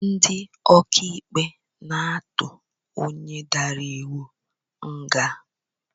Ndị ọkaikpe na-atụ onye dara iwu nga